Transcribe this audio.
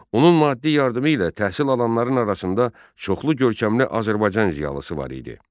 Onun maddi yardımı ilə təhsil alanların arasında çoxlu görkəmli Azərbaycan ziyalısı var idi.